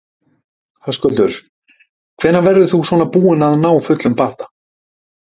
Höskuldur: Hvenær verður þú svona búinn að ná fullum bata?